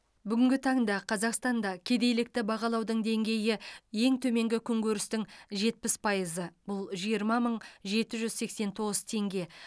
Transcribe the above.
бүгінгі таңда қазақстанда кедейлікті бағалаудың деңгейі ең төменгі күнкөрістің жетпіс пайызы жиырма мың жеті жүз сексен тоғыз теңге